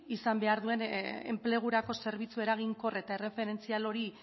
izan behar duen enplegurako zerbitzu eraginkor eta erreferentzial hori